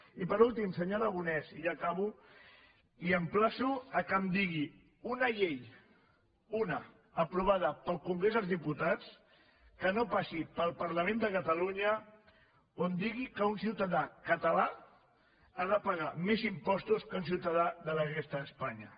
i per últim senyor aragonès i ja acabo li emplaço que em digui una llei una aprovada pel congrés dels diputats que no passi pel parlament de catalunya on digui que un ciutadà català ha de pagar més impostos que un ciutadà de la resta d’espanya